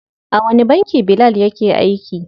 A wani banki Bilal yake aiki?